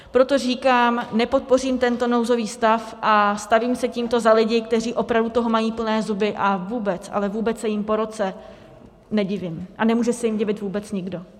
Proto říkám, nepodpořím tento nouzový stav a stavím se tímto za lidi, kteří opravdu toho mají plné zuby, a vůbec, ale vůbec se jim po roce nedivím a nemůže se jim divit vůbec nikdo.